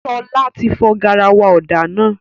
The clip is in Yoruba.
Ṣọlá ti fọ garawa ọ̀dà náà